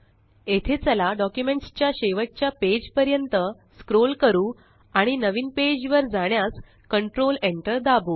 येथे चला डॉक्युमेंट्स च्या शेवटच्या पेज पर्यंत स्क्रोल करू आणि नवीन पेज वर जाण्यास कंट्रोल Enter दाबु